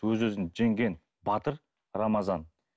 өз өзін жеңген батыр рамазан